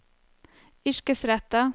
yrkesrettet